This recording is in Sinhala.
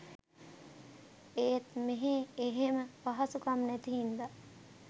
ඒත් මෙහෙ එහෙම පහසුකම් නැති හින්දා